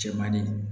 Cɛmannin